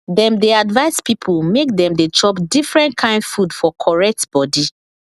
dem dey advice people make dem dey chop different kain food for correct body